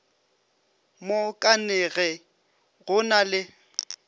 mo kanege go na le